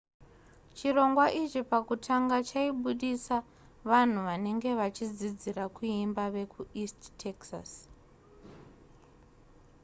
chirongwa ichi pakutanga chaibudisa vanhu vanenge vachidzidzira kuimba vekueast texas